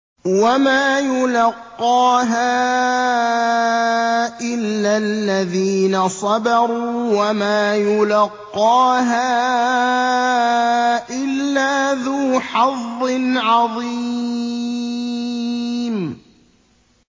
وَمَا يُلَقَّاهَا إِلَّا الَّذِينَ صَبَرُوا وَمَا يُلَقَّاهَا إِلَّا ذُو حَظٍّ عَظِيمٍ